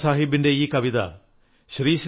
if you have knowledge share ഇട്ട്